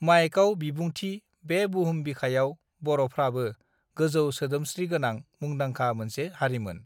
माइकआव बिबुंथि बे बुहुम बिखायाव बरफ्राबो गोजौ सोदोमस्त्रि गोनां मुंदांखा मोनसे हारिमोन